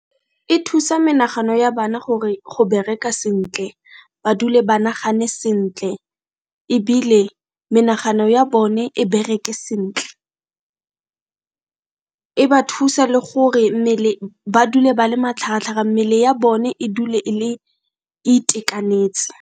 E thusa menagano ya bana go bereka sentle, ba dule ba nagane sentle, ebile menagano ya bone e bereke sentle. E ba thusa le gore ba dule ba le matlhagatlhaga mmele ya bone e dule e itekanetse.